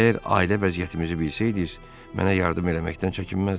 Əgər ailə vəziyyətimizi bilsəydiniz, mənə yardım eləməkdən çəkinməzdiniz.